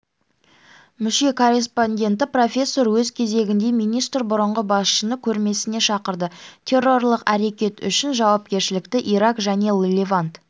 мүше-корреспонденті профессор өз кезегінде министр бұрынғы басшыны көрмесіне шақырды террорлық әрекет үшін жауапкершілікті ирак және левант